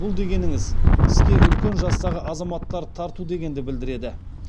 бұл дегеніңіз іске үлкен жастағы азаматтарды тарту дегенді білдіреді